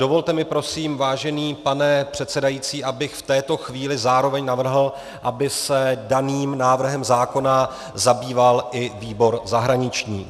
Dovolte mi prosím, vážený pane předsedající, abych v této chvíli zároveň navrhl, aby se daným návrhem zákona zabýval i výbor zahraniční.